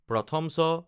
চ